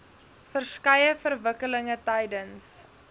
verskeie verwikkelinge tydens